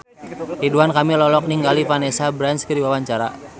Ridwan Kamil olohok ningali Vanessa Branch keur diwawancara